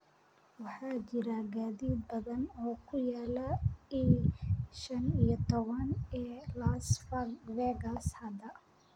waxaa jira gaadiid badan oo ku yaala i shan iyo toban ee las vegas hadda